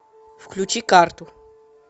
включи карту